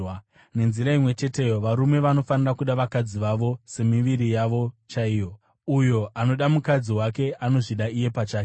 Nenzira imwe cheteyo, varume vanofanira kuda vakadzi vavo semiviri yavo chaiyo. Uyo anoda mukadzi wake anozvida iye pachake.